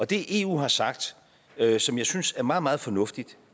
det eu har sagt som jeg synes er meget meget fornuftigt